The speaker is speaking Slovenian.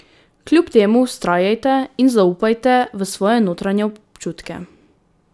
Kljub temu vztrajajte in zaupajte v svoje notranje občutke.